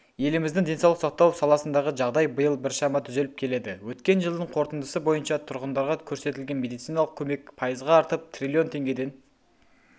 еліміздің денсаулық сақтау саласындағы жағдай биыл біршама түзеліп келеді өткен жылдың қорытындысы бойынша тұрғындарға көрсетілген медициналық көмек пайызға артып триллион теңгеден